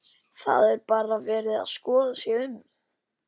Það er bara verið að skoða sig um?